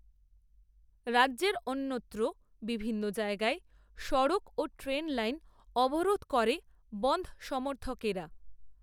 রাজ্যের, অন্যত্র বিভিন্ন জায়গায় সড়ক, ও ট্রেন লাইন, অবরোধ করে, বন‌ধ, সমর্থকেরা